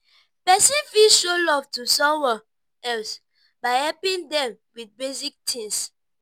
person fit show love to someone else by helping them with basic things